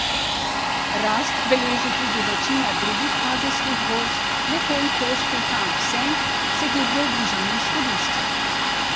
Rast beleži tudi večina drugih azijskih borz, le hongkonški Hang Seng se giblje v bližini izhodišča.